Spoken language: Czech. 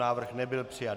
Návrh nebyl přijat.